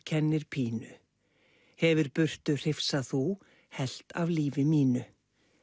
kennir pínu hefir burtu hrifsað þú helft af lífi mínu